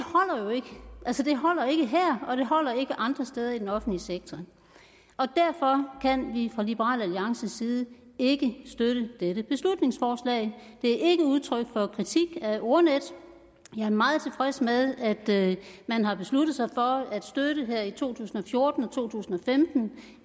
holder ikke her og det holder ikke andre steder i den offentlige sektor derfor kan vi fra liberal alliances side ikke støtte dette beslutningsforslag det er ikke udtryk for kritik af ordnetdk jeg er meget tilfreds med at man har besluttet sig for at støtte det her i to tusind og fjorten og i to tusind og femten